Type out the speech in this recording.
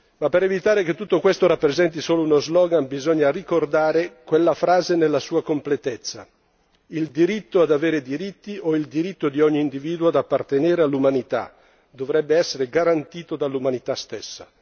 Ma per evitare che tutto questo rappresenti solo uno slogan bisogna ricordare quella frase nella sua completezza Il diritto ad avere diritti, o il diritto di ogni individuo ad appartenere all'umanità, dovrebbe essere garantito dall'umanità stessa.